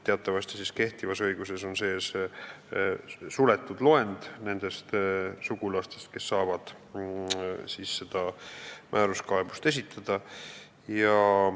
Teatavasti on kehtivas õiguses suletud loend nendest sugulastest, kes saavad sellekohase määruskaebuse esitada.